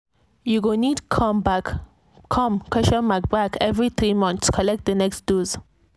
you go need come back come question mark back every three months collect the next dose.